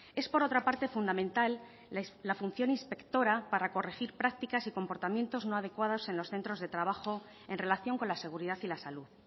es por otra parte fundamental la función inspectora para corregir prácticas y comportamientos no adecuados en los centros de trabajo en relación con la seguridad y la salud